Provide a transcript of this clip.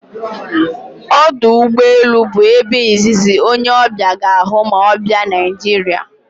Ọdụ ụgbọ elu bụ ebe izizi onye ọbịa ga-ahụ ma ọ bịạ Naịjiria